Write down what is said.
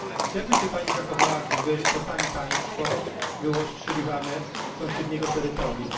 Jak by się pani zachowała, gdyby to pani państwo było ostrzeliwane z sąsiedniego terytorium?